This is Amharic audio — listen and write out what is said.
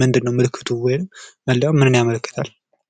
ምንድን ነው ምልክቱ ወይም መለያው ምንን ያመለክታል።